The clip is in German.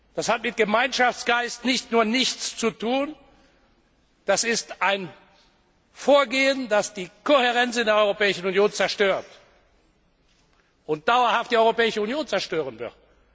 Das hat mit Gemeinschaftsgeist nicht nur nichts zu tun, das ist ein Vorgehen, das die Kohärenz in der Europäischen Union zerstört, und auch dauerhaft die Europäische Union zerstören wird.